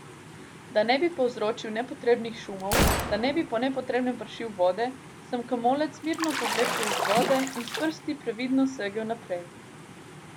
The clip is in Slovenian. Da ne bi povzročal nepotrebnih šumov, da ne bi po nepotrebnem pršil vode, sem komolec mirno povlekel iz vode in s prsti previdno segel naprej.